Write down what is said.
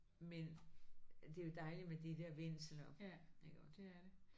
Men det er jo dejligt med de der vindsler iggå